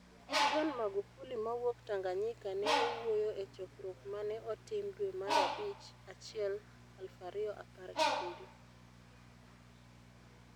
John Magufuli mawuok Tanganyika ne owuoyo e chokruok ma ne otim dwe mara bich 1, 2017.